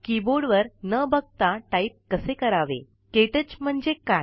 कीबोर्डवर न बघता टाईप कसे करावे क्टच म्हणजे काय